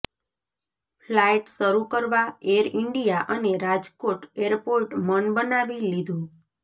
flight શરૂ કરવા Air India અને રાજકોટ એરપોર્ટે મન બનાવી લીધું